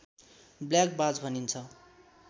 black बाज भनिन्छ